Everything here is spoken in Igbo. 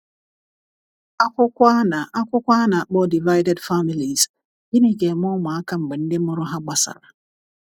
akwukwo ana akwukwo ana akpo divided families - gini ga eme ụmụ aka mgbe ndi mụrụ ha gbasara